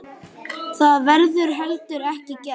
Það verður heldur ekki gert.